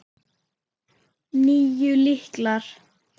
Níu lyklar.